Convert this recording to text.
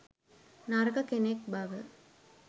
නරක කෙනෙක් බව